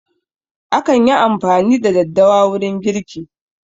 Akan yi amfani da daddawa wurin girki